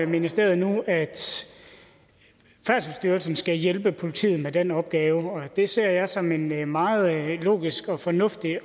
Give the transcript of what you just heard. ministeriet nu at færdselsstyrelsen skal hjælpe politiet med den opgave og det ser jeg også som en meget logisk og fornuftig